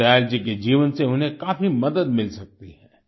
दीन दयाल जी के जीवन से उन्हें काफी मदद मिल सकती है